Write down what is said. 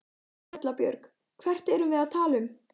Erla Björg: Hvert erum við að tala um?